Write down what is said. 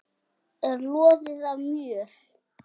er loðið af mjöll.